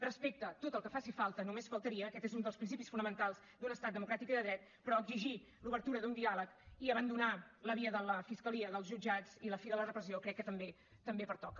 respecte tot el que faci falta només faltaria aquest és un dels principis fonamentals d’un estat democràtic i de dret però exigir l’obertura d’un diàleg i abandonar la via de la fiscalia dels jutjats i la fi de la repressió crec que també pertoca